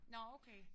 Nåh okay